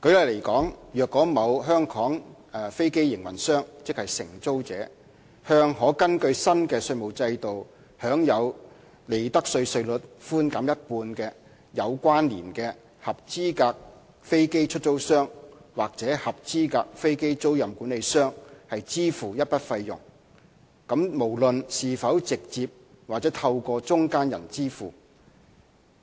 舉例來說，若某香港飛機營運商，即承租者向可根據新的稅務制度享有利得稅稅率寬減一半的有關連合資格飛機出租商，或合資格飛機租賃管理商，支付一筆費用，無論是否直接或透過中間人支付，